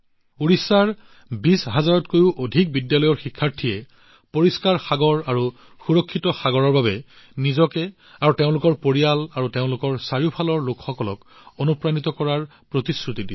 ওড়িশাত ২০০০০ ৰো অধিক বিদ্যালয়ৰ শিক্ষাৰ্থীয়ে পৰিষ্কাৰ মহাসাগৰ আৰু সুৰক্ষিত সাগৰৰ বাবে নিজকে আৰু তেওঁলোকৰ পৰিয়াল আৰু চৌদিশৰ লোকসকলক অনুপ্ৰাণিত কৰাৰ প্ৰতিশ্ৰুতি দিছিল